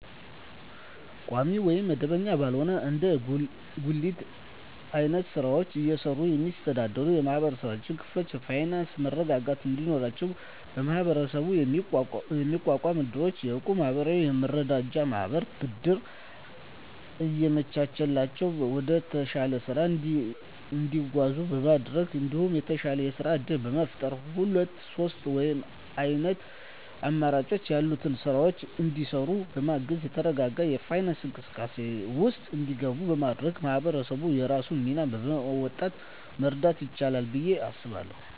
ቋሚ ወይም መደበኛ ባልሆነ እንደ ጉሊት አይነት ስራወችን እየሰሩ የሚስተዳደሩ የማህበረሰብ ክፍሎች የፋይናንሰ መረጋጋት እንዲኖራቸው በመሀበረሰቡ የሚቋቋሙ እድሮች፣ የእቁብ ማህበራትና የመረዳጃ ማህበራት ብድር እያመቻቸላቸው ወደተሻለ ስራ እንዲያድጉ በማድረግ እንዲሁም የተሻለ የስራ እድል በመፍጠርና ሁለት ሶስት አይነት አማራጭ ያላቸውን ስራወች እንዲሰሩ በማገዝ የተረጋጋ የፋይናንስ እንቅስቃሴ ውስጥ እንዲገቡ በማድረግ ማህበረሰቡ የራሱን ሚና በመወጣት መርዳት ይችላል ብየ አስባለሁ።